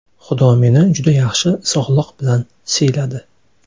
Xudo meni juda yaxshi sog‘liq bilan siyladi.